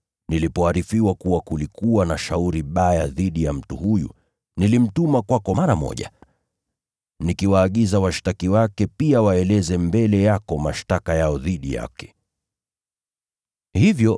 Nilipoarifiwa kuwa kulikuwa na shauri baya dhidi ya mtu huyu, nilimtuma kwako mara moja. Niliwaagiza washtaki wake pia waeleze mashtaka yao dhidi yake mbele yako.